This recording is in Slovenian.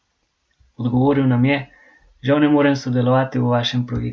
Odgovoril nam je: "Žal ne morem sodelovati v vašem projektu".